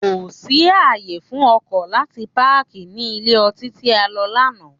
Kò sí ààyè fún ọkọ̀ láti páàkì ní ilé ọtí tí a lọ lánàá.